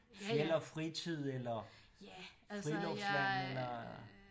Fjeld og fritid eller Friluftsland eller